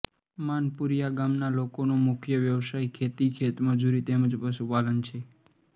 માનપુરીયા ગામના લોકોનો મુખ્ય વ્યવસાય ખેતી ખેતમજૂરી તેમ જ પશુપાલન છે